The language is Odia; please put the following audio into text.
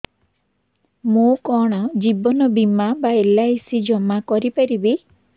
ମୁ କଣ ଜୀବନ ବୀମା ବା ଏଲ୍.ଆଇ.ସି ଜମା କରି ପାରିବି